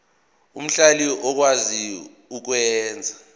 omhlali okwazi ukwenza